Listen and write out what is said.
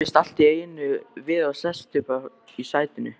Kippist allt í einu við og sest upp í sætinu.